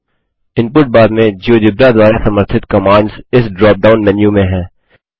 input bar में GeoGebra द्वारा समर्थित कमांड्स इस ड्रॉप डाउन मेनू में हैं